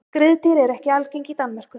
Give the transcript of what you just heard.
Skriðdýr eru ekki algeng í Danmörku.